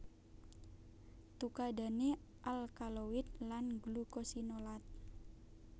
Tukadhane alkaloid lan glukosinolat